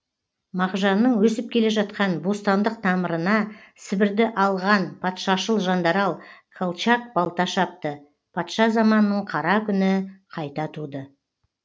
мағжанның өсіп келе жатқан бостандық тамырына сібірді алған патшашыл жандарал калчак балта шапты патша заманының қара күні қайта туды